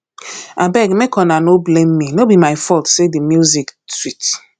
abeg make una no blame me no be my fault say the music sweet